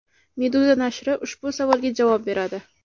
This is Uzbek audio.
Meduza nashri ushbu savolga javob beradi .